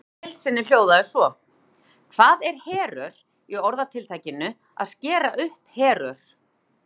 Spurningin í heild sinni hljóðaði svo: Hvað er herör í orðatiltækinu að skera upp herör?